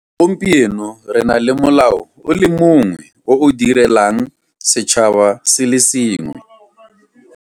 Gompieno re na le molao o le mongwe o o direlang setšhaba se le sengwe.